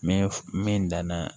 Mɛ min danna